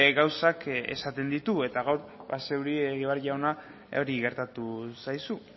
gauzak esaten ditu eta gaur zeuri egibar jauna hori gertatu zaizu